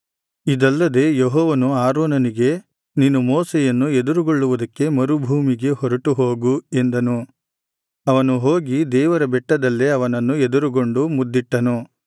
ಇದಲ್ಲದೆ ಯೆಹೋವನು ಆರೋನನಿಗೆ ನೀನು ಮೋಶೆಯನ್ನು ಎದುರುಗೊಳ್ಳುವುದಕ್ಕೆ ಮರುಭೂಮಿಗೆ ಹೊರಟುಹೋಗು ಎಂದನು ಅವನು ಹೋಗಿ ದೇವರ ಬೆಟ್ಟದಲ್ಲೇ ಅವನನ್ನು ಎದುರುಗೊಂಡು ಮುದ್ದಿಟ್ಟನು